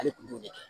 Ale tun b'o de kɛ